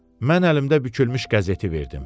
Mən əlimdə bükülmüş qəzeti verdim.